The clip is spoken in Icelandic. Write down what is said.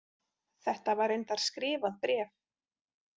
Þetta var reyndar skrifað bréf.